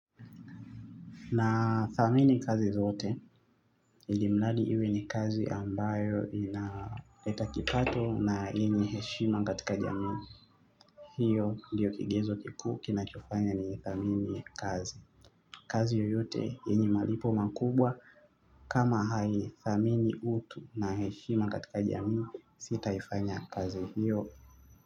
Na thamini kazi zote ilimladi iwe ni kazi ambayo inaleta kipato na enye heshima katika jamii. Hiyo ndiyo kigezo kikuu kinachofanya ni thamini kazi. Kazi yoyote enye malipo makubwa kama hai thamini utu na heshima katika jamii sitaifanya kazi hiyo.